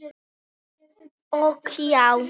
Ok, já?